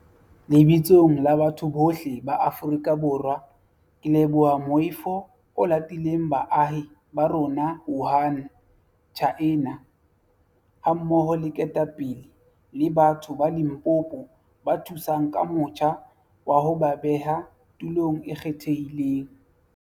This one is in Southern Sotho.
Lebitsong la batho bohle ba Aforika Borwa ke leboha moifo o latileng baahi ba bo rona Wuhan, Tjhaena, hammoho le ketapele le batho ba Limpopo ba thusang ka motjha wa ho ba beha tulong e kgethehileng.